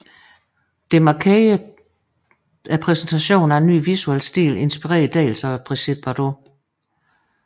Det markerede præsentationen af en ny visuel stil inspireret dels af Brigitte Bardot